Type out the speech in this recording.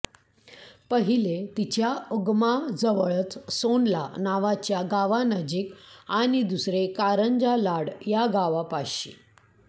पहिले तिच्या उगमाजवळच सोनला नावाच्या गावानजीक आणि दुसरे कारंजा लाड या गावापाशी